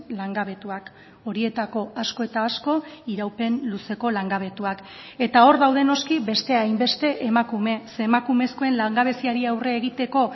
langabetuak horietako asko eta asko iraupen luzeko langabetuak eta hor daude noski beste hainbeste emakume ze emakumezkoen langabeziari aurre egiteko